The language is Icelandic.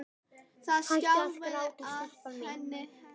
Það skjálfa á henni hnén.